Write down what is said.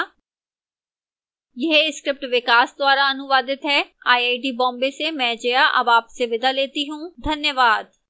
यह स्क्रिप्ट विकास द्वारा अनुवादित है आईआईटी बॉम्बे से मैं जया अब आपसे विदा लेती हूँ धन्यवाद